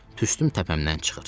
Tüstüm təpəmdən çıxır.